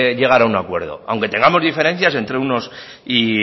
llegar a un acuerdo aunque tengamos diferencias entre unos y